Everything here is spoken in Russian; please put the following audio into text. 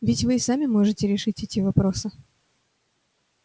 ведь вы и сами можете решить эти вопросы